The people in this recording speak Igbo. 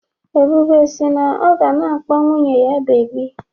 Ebube si na ọ ga na-akpọ nwunye ya "beebi"